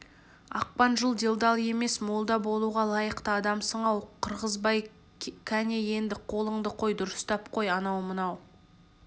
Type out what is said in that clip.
ақпан жыл делдал емес молда болуға лайықты адамсың-ау қырғызбай кәне енді қолыңды қой дұрыстап қой анау-мынау